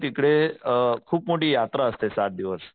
तिकडे अ खूप मोठी यात्रा असते सात दिवस.